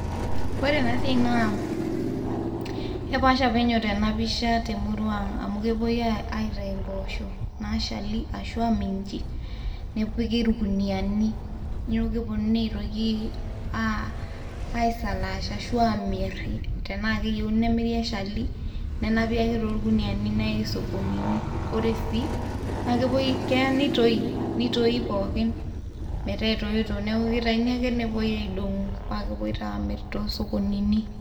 Ore ena siai naa kepaasha penyo tena pisha te emurrua aang' amu kepuoi aitayuu impoosho naashal ashu aa minji nepiki irkuniyiani neeku keponunui aitoki aaisalaash ashu aamirr tenaa keyieuni nemiri eshali nenapi ake torkuniyiani neyai isokonini, ore sii keyaa nitoyii, nitoyii pookin metaa etoito, neeku kitayuni ake nepuoi aidong'u paa kepuoi taa aamirr toosokonini.